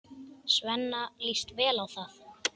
Svenna líst vel á það.